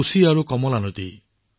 কুশী কমলা বালান